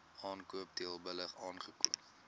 aankoop teelbulle aankoop